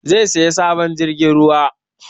Zai saya sabon jirgin ruwa